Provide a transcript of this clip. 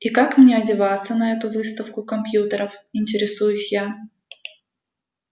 и как мне одеваться на эту выставку компьютеров интересуюсь я